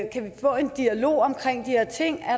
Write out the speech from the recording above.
kan få en dialog om de her ting